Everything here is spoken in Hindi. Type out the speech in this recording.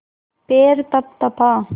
पैर तपतपा